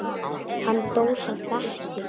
Hann dó samt ekki.